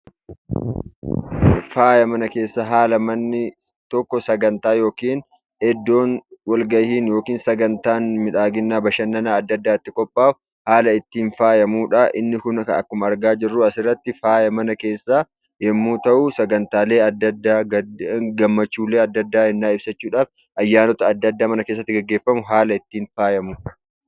Faaya mana keessaa haala manni tokko sagantaa yookiin iddoo walgahiin yookiin sagantaan miidhaginaa, bashannana adda addaa itti qophaahu, haala ittiin faayamudha. Inni kun akkuma argaa jirru asirratti faaya mana keessaa yommuu ta'u, sagantaalee adda addaa ,gammachuulee adda addaa yennaa ibsachuudhaaf, ayyaanota adda addaa mana keessatti gageeffamu haala ittiin faayamudha.